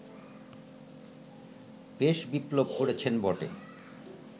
বেশ বিপ্লব করছেন বটে